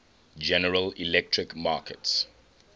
general electric markets